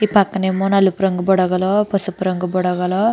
ఈ పక్కన ఏమో నలుపు రంగు బుడగలు పసుపు రంగు బుడగలు --